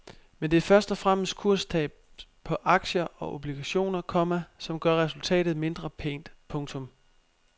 Men det er først og fremmest kurstab på aktier og obligationer, komma som gør resultatet mindre pænt. punktum